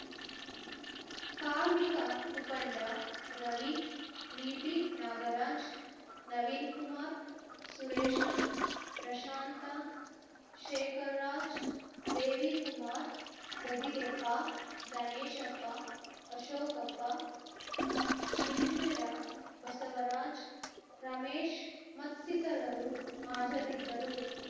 ಕಾರ್ಮಿಕ ಮುಖಂಡ ರವಿ ವಿಪಿ ನಾಗರಾಜ್‌ ನವೀನಕುಮಾರ್‌ ಸುರೇಶ ಪ್ರಶಾಂತ ಶೇಖರಾಜ್‌ ದೇವಿಕುಮಾರ್‌ ಗದಿಗೆಪ್ಪ ಗಣೇಶಪ್ಪ ಅಶೋಕಪ್ಪ ಮಿಲ್ಟರ ಬಸವರಾಜ್‌ ರಮೇಶ್‌ ಮತ್ತಿತರರು ಹಾಜರಿದ್ದರು